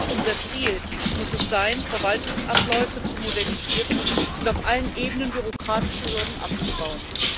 Unser Ziel muss sein, Verwaltungsabläufe zu modernisieren und auf allen Ebenen bürokratische Hürden abzubauen.